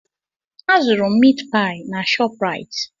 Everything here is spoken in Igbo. A zụeu m miit paị na Shopraịt.